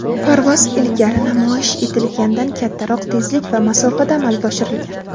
parvoz ilgari namoyish etilgandan kattaroq tezlik va masofada amalga oshirilgan.